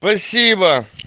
спасибо